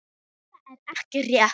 Þetta er ekki rétt.